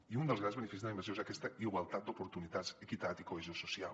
i un dels grans beneficis de la immersió és aquesta igualtat d’oportunitats equitat i cohesió social